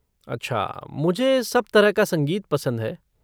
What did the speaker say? अच्छा, मुझे सब तरह का संगीत पसंद है।